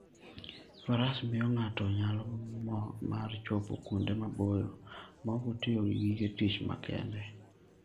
Faras miyo ng'ato nyalo mar chopo kuonde maboyo maok otiyo gi gige tich makende.